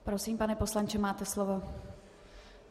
Prosím, pane poslanče, máte slovo.